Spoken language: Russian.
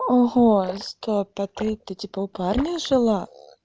ого стоп а ты ты типа у парня жила